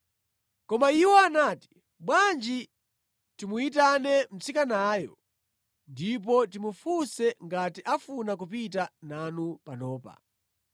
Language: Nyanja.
Koma iwo anati, “Bwanji timuyitane mtsikanayo ndipo timufunse ngati afuna kupita nanu panopa.”